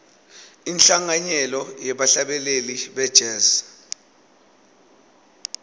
inhlanganyelo yebahlabeleli be jazz